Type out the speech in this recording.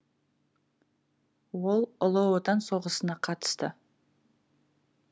ол ұлы отан соғысына қатысты